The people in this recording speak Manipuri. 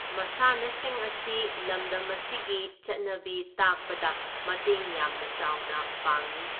ꯃꯥꯁꯥꯟꯅꯁꯤꯡ ꯑꯁꯤ ꯂꯝꯗꯝ ꯑꯁꯤꯒꯤ ꯆꯠꯅꯕꯤ ꯇꯥꯛꯄꯗ ꯃꯇꯦꯡ ꯌꯥꯝꯅ ꯆꯥꯎꯅ ꯄꯥꯡꯏ꯫